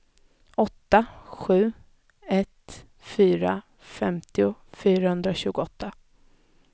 åtta sju ett fyra femtio fyrahundratjugoåtta